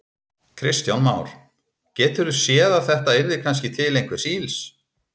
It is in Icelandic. Kristján Már: Geturðu séð að þetta yrði kannski til einhvers ills?